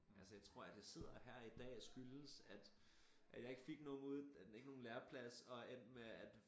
Altså jeg tror at jeg sidder her i dag skyldes at at jeg ikke fik nogen ud ikke nogen læreplads og endte med at